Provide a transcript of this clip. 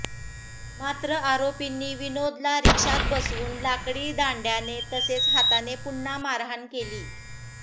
मात्र आरोपींनी विनोदला रिक्षात बसवून लाकडी दांड्याने तसेच हाताने पुन्हा मारहाण केली